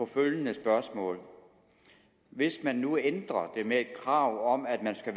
følgende spørgsmål hvis man nu ændrer den med et krav om at man skal